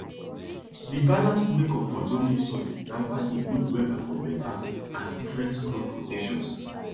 the balanced makeup for loamy soil na why e good wella for better and different crop rotations